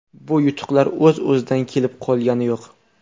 Bu yutuqlar o‘z-o‘zidan kelib qolgani yo‘q.